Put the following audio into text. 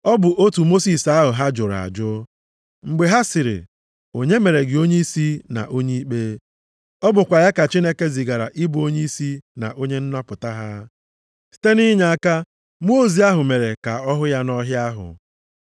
“Ọ bụ otu Mosis ahụ ha jụrụ ajụ, mgbe ha sịrị, ‘Onye mere gị onyeisi na onye ikpe?’ Ọ bụkwa ya ka Chineke zigara ị bụ onyeisi na onye nnapụta ha, site nʼinyeaka mmụọ ozi ahụ mere ka ọ hụ ya nʼọhịa ahụ.